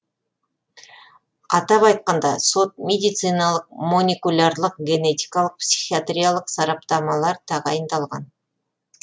атап айтқанда сот медициналық моникулярлық генетикалық психиатриялық сараптамалар тағайындалған